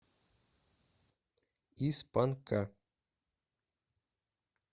из панка